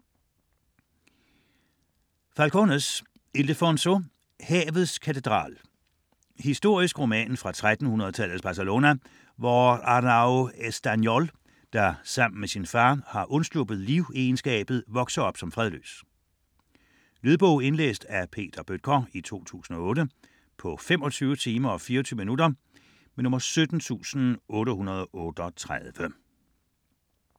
Falcones, Ildefonso: Havets katedral Historisk roman fra 1300-tallets Barcelona, hvor Arnau Estanyol, der sammen med sin far har undsluppet livegenskabet, vokser op som fredløs. Lydbog 17838 Indlæst af Peter Bøttger, 2008. Spilletid: 25 timer, 24 minutter.